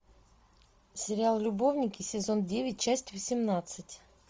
сериал любовники сезон девять часть восемнадцать